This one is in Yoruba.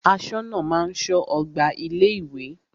Aṣọ́nà máa ń ṣọ́ ọgbà ilé ìwé.